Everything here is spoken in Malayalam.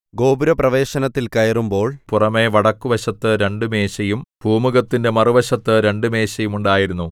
ഗോപുരപ്രവേശനത്തിൽ കയറുമ്പോൾ പുറമെ വടക്കുവശത്തു രണ്ടുമേശയും പൂമുഖത്തിന്റെ മറുവശത്ത് രണ്ടുമേശയും ഉണ്ടായിരുന്നു